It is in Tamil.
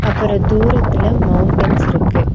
அப்புறம் தூரத்துல மௌண்டன்ஸ் இருக்கு.